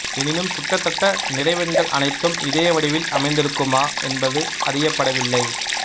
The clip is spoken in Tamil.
எனினும் கிட்டத்தட்ட நிறைவெண்கள் அனைத்தும் இதே வடிவில் அமைந்திருக்குமா என்பது அறியப்படவில்லை